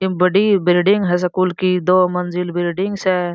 इन बड़ी बिल्डिंग है स्कूल की दो मंज़िल बिल्डिंग स।